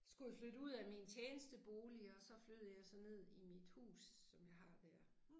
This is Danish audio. Skulle jeg flytte ud af min tjenestebolig og så flyttede jeg så ned i mit hus som jeg har dér